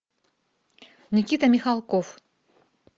никита михалков